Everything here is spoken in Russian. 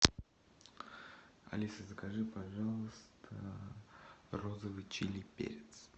алиса закажи пожалуйста розовый чили перец